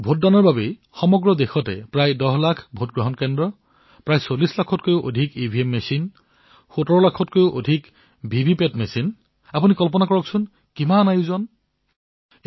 ভোটদানৰ বাবে সমগ্ৰ দেশত প্ৰায় ১০ লাখ নিৰ্বাচনী কেন্দ্ৰ প্ৰায় ৪০ লাখতকৈও অধিক ইভিএম মেচিন ১৭ লাখতকৈও অধিক ভিভিপেট মেচিন আপুনি কল্পনা কৰিব পাৰে কিমান বৃহৎ আয়োজন এয়া